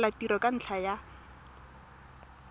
tlogela tiro ka ntlha ya